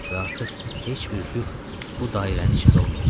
Və artıq heç bir Lyuk bu dairənin içində olmayacaq.